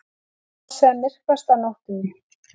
Sá sem myrkvast á nóttunni.